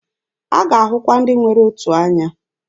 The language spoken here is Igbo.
A ga-ahụkwa ndị nwere otu anya.